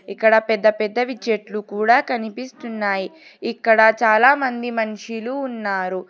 ఇక్కడ పెద్ద పెద్దవి చెట్లు కూడ కనిపిస్తున్నాయి ఇక్కడ చాలా మంది మనిషులు ఉన్నారు.